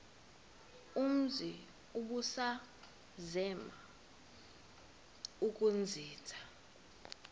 umzi ubusazema ukuzinza